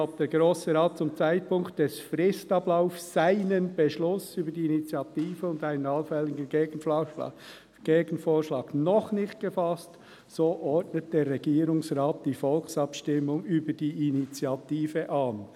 «Hat der Grosse Rat zum Zeitpunkt des Fristablaufs Beschluss über die Initiative und einen allfälligen Gegenvorschlag noch nicht gefasst, so ordnet der Regierungsrat die Volksabstimmung über die Initiative an.